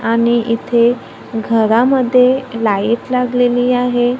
आणि इथे घरामध्ये लाईट लागलेली आहे.